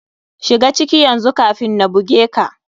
Shiga ciki yanzu kafin na buge ka.